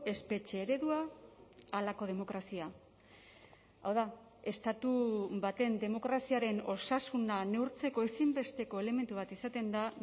espetxe eredua halako demokrazia hau da estatu baten demokraziaren osasuna neurtzeko ezinbesteko elementu bat izaten da